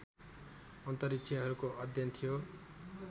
अन्तरिक्षहरूको अध्ययन थियो